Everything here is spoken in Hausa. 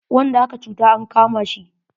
Wanda aka cutar an kama shi.